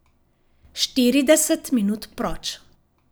Štirideset minut proč.